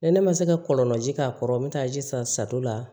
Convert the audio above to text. Ni ne ma se ka kɔlɔnlɔji k'a kɔrɔ n bɛ taa ji san sado la